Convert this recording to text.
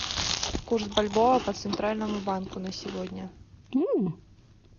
курс бальбоа по центральному банку на сегодня